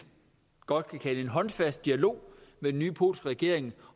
godt kan kalde en håndfast dialog med den nye polske regering